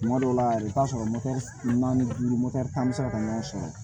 Tuma dɔw la yɛrɛ i bɛ taa sɔrɔ naani duuru tan bɛ se ka ɲɔgɔn sɔrɔ